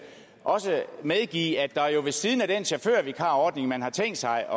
også medgive at der ved siden af den chaufførvikarordning man har tænkt sig